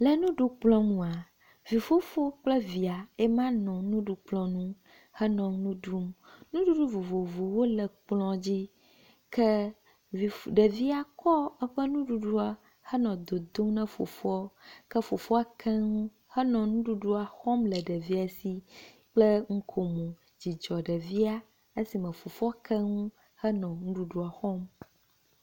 Le nuɖukplɔ nua vi fofo kple via yema nɔ nuɖukplɔ nu henɔ nu ɖum. Nuɖuɖu vovovowo le kplɔ dzi ke vi ɖevia kɔ eƒe nuɖuɖu nɔ dodom na fofoa ke fofoa ke nu henɔ nuɖuɖua xɔm le ɖevia si kple nukomo. Dzidzɔ ɖevia esime fofoa ke nu henɔa nuɖuɖu xɔm.